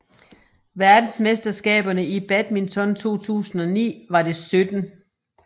Verdensmesterskaberne i badminton 2009 var det 17